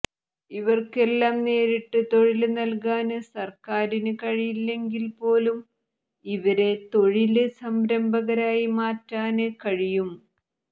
ഇവര്ക്കെല്ലാം നേരിട്ട് തൊഴില് നല്കാന് സര്ക്കാരിന് കഴിയില്ലെങ്കില് പോലും ഇവരെ തൊഴില് സംരംഭകരായി മാറ്റാന് കഴിയും